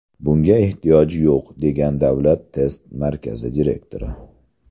Bunga ehtiyoj yo‘q, degan Davlat test markazi direktori.